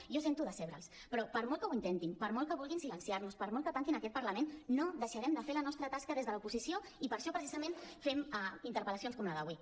jo sento decebre’ls però per molt que ho intentin per molt que vulguin silenciar nos per molt que tanquin aquest parlament no deixarem de fer la nostra tasca des de l’oposició i per això precisament fem interpel·lacions com la d’avui